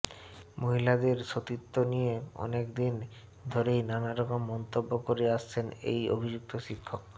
মহিলাদের সতীত্ব নিয়ে অনেকদিন ধরেই নানারকম মন্তব্য করে আসছেন এই অভিযুক্ত শিক্ষক